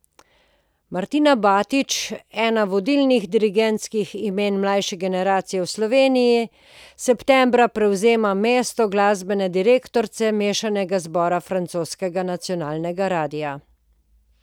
Martina Batič, eno vodilnih dirigentskih imen mlajše generacije v Sloveniji, septembra prevzema mesto glasbene direktorice mešanega zbora francoskega nacionalnega radia.